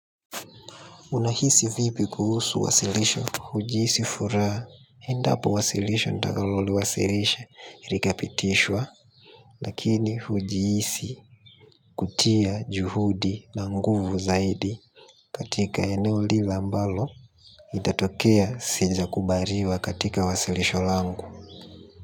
Unahisi vipi kuhusu wasilisho? Hujihisi furaha. Endapo wasilisho, nitakalowasilisha ilikapitishwa, lakini hujihisi kutia juhudi na nguvu zaidi katika eneo lile ambalo litatokea sijakubaliwa katika wasilisho langu.